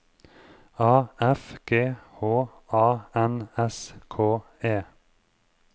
A F G H A N S K E